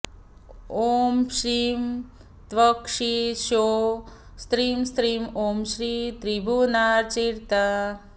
ॐ श्रीं त्र्यक्षी ह्सौः स्त्रीं स्त्रीं ॐ श्रीं त्रिभुवनार्चिता